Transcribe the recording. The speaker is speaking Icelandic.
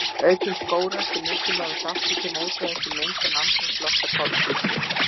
Aukin skógrækt er mikilvægur þáttur til mótvægis við mengun andrúmslofts af koltvísýringi.